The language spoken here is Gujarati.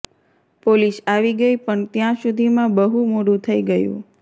પોલીસ આવી ગઈ પણ ત્યાં સુધીમાં બહુ મોડું થઈ ગયું